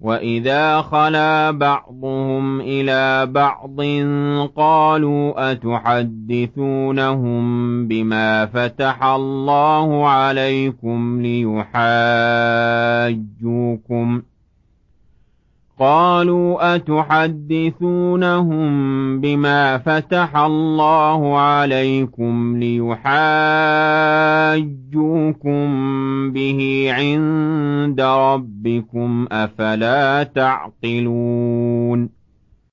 وَإِذَا خَلَا بَعْضُهُمْ إِلَىٰ بَعْضٍ قَالُوا أَتُحَدِّثُونَهُم بِمَا فَتَحَ اللَّهُ عَلَيْكُمْ لِيُحَاجُّوكُم بِهِ عِندَ رَبِّكُمْ ۚ أَفَلَا تَعْقِلُونَ